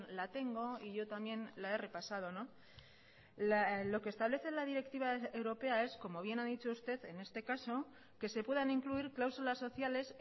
la tengo y yo también la he repasado lo que establece la directiva europea es como bien ha dicho usted en este caso que se puedan incluir cláusulas sociales